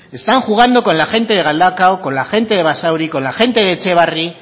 están jugando con la gente de galdakao con la gente de basauri con la gente de etxebarri